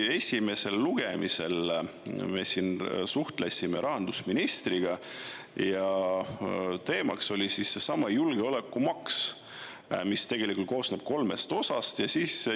Esimesel lugemisel me siin suhtlesime rahandusministriga ja teemaks oli seesama julgeolekumaks, mis tegelikult koosneb kolmest osast.